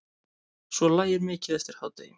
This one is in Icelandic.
Svo lægir mikið eftir hádegi.